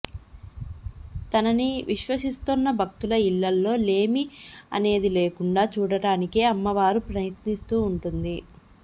తనని విశ్వసిస్తోన్న భక్తుల ఇళ్లలో లేమి అనేది లేకుండా చూడటానికే అమ్మవారు ప్రయత్నిస్తూ ఉంటుంది